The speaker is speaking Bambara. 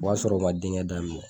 O b'a sɔrɔ o ma denkɛ daminɛ